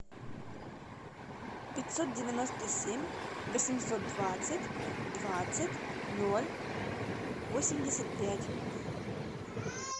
пятьсот девяносто семь восемьсот двадцать двадцать ноль восемьдесят пять